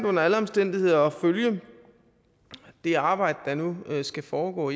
under alle omstændigheder interessant at følge det arbejde der nu skal foregå